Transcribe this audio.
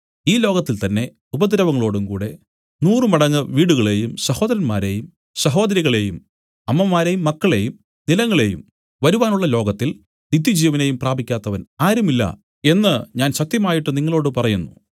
ഈ ലോകത്തിൽ തന്നേ ഉപദ്രവങ്ങളോടുംകൂടെ നൂറുമടങ്ങ് വീടുകളെയും സഹോദരന്മാരെയും സഹോദരികളെയും അമ്മമാരെയും മക്കളെയും നിലങ്ങളെയും വരുവാനുള്ള ലോകത്തിൽ നിത്യജീവനെയും പ്രാപിക്കാത്തവൻ ആരുമില്ല എന്നു ഞാൻ സത്യമായിട്ട് നിങ്ങളോടു പറയുന്നു